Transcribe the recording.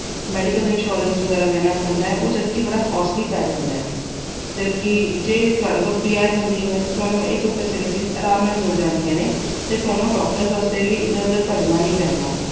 medical insurance ਵਗੈਰਾ ਲੈਣਾ ਪੈਂਦਾ, ਉਹ ਜਦਕਿ ਬੜਾ costly ਪੈ ਜਾਂਦਾ। ਜਦਕਿ ਜੇ ਤੁਹਾਡੇ ਕੋਲ PR ਹੁੰਦੀ ਏ ਤਾਂ ਤੁਹਾਨੂੰ ਇਹ ਸਭ facilities ਆਰਾਮ ਨਾਲ ਮਿਲ ਜਾਂਦੀਆਂ ਨੇ ਤੇ ਤੁਹਾਨੂੰ doctors ਵਾਸਤੇ ਵੀ ਇਧਰ-ਉਧਰ ਭੱਜਣਾ ਨਹੀਂ ਪੈਂਦਾ।